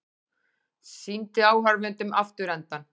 Sýndi áhorfendum afturendann